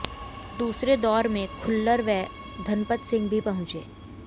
दूसरे दौर में खुल्लर व धनपत सिंह भी पहुंचे